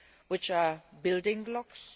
which are building blocks.